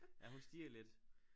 Ja hun stirrer lidt